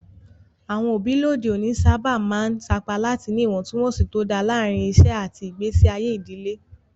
Àwọn òbí lóde òní sábà máa ń sapá láti ní ìwọ̀ntúnwọ̀nsì tó dáa láàárín iṣẹ́ àti ìgbésí ayé ìdílé.